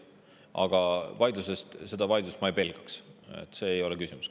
Aga seda vaidlust ma ei pelgaks, see ei ole küsimus.